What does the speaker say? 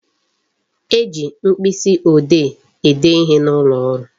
E ji mkpịsị ode ede ihe n'ụlọ ọrụ